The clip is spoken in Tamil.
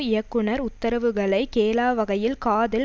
இயக்குனர் உத்தரவுகளை கேளாவகையில் காதில்